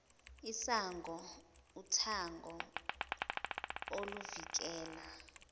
isango uthango oluvikela